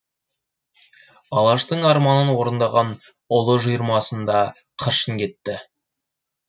алаштың арманын орындаған ұлы жиырмасында қыршын кетті